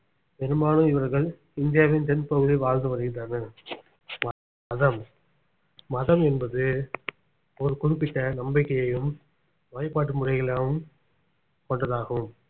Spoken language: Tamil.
பெரும்பாலும் இவர்கள் இந்தியாவின் தென்பகுதியில் வாழ்ந்து வருகின்றனர் மதம் மதம் என்பது ஒரு குறிப்பிட்ட நம்பிக்கையையும் வழிபாட்டு முறைகளாவும் கொண்டதாகும்